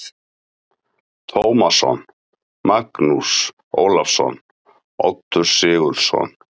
Tómasson, Magnús Ólafsson, Oddur Sigurðsson